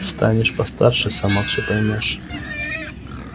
станешь постарше сама все поймёшь